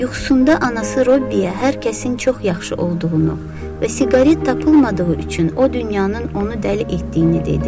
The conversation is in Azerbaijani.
Yuxusunda anası Robbiyə hər kəsin çox yaxşı olduğunu və siqaret tapılmadığı üçün o dünyanın onu dəli etdiyini dedi.